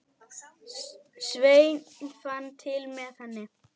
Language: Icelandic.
Sveinn fann til með henni.